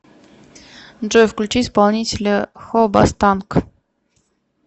джой включи исполнителя хобастанк